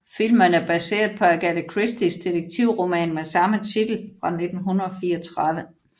Filmen er baseret på Agatha Christies detektivroman med samme titel fra 1934